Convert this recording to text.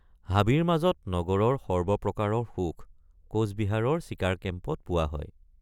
হাবিৰ মাজত নগৰৰ সৰ্বপ্ৰকাৰৰ সুখ কোচবিহাৰৰ চিকাৰ কেম্পত পোৱা হয়।